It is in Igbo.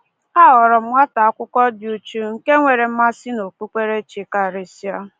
Aghọrọ m nwata akwụkwọ dị uchu, nke nwere mmasị n’okpukperechi karịsịa.